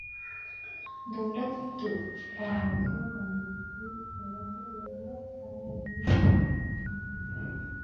Dawladdu waxay soo bandhigtay xeelado lagula tacaalayo isbeddelka cimilada.